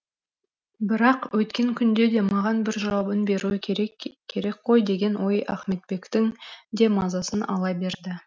бірақ өйткен күнде де маған бір жауабын беруі керек керек қой деген ой ахметбектің де мазасын ала берді